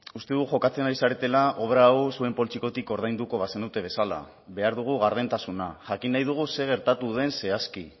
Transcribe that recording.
uste dut jokatzen ari zaretela obra hau zuen poltsikotik ordainduko bazenute bezala behar dugu gardentasuna jakin nahi dugu zer gertatu den zehazki